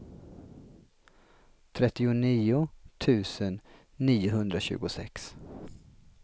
trettionio tusen niohundratjugosex